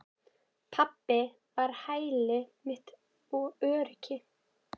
Pabbi var hæli mitt og öryggi.